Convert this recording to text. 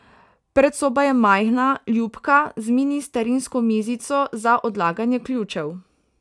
Predsoba je majhna, ljubka, z mini starinsko mizico za odlaganje ključev.